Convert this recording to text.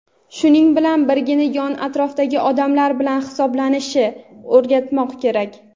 shuning bilan birga yon-atrofdagi odamlar bilan hisoblashishni o‘rgatmoq kerak.